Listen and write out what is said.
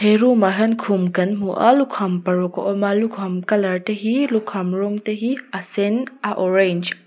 he room ah hian khum kan hmu a lukham paruk a awm a lukham colour te hi lukham rawng te hi a sen a orange .